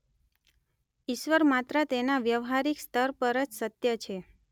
ઇશ્વર માત્ર તેના વ્યવહારિક સ્તર પર જ સત્ય છે.